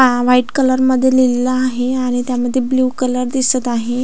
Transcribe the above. आ white colour मध्ये लिहलेलं आहे आणि त्यामध्ये ब्ल्यू कलर दिसत आहे.